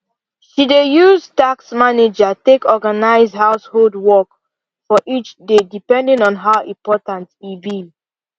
she dey use task manager take organize household work for each day depending on how important e be